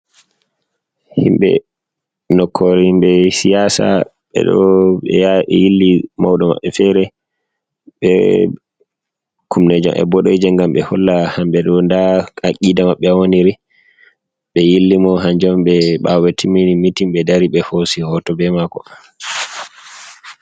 Himbe nokkore himɓe shiyasa, ɓeɗo ɓeya ɓe yilli mauɗo mabbe fere, be kumneji maɓɓe boɗeje ngam holla hambe ɗo nda akida mabbe hawani ri be yilli mo hanjom on, ɓawo be timmin mitin ɓe dari be hosi hoto be mako.